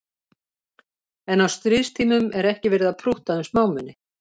En á stríðstímum er ekki verið að prútta um smámuni